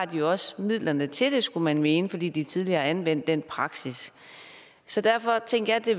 de også har midlerne til det skulle man mene fordi de tidligere har anvendt den praksis så derfor tænkte jeg at det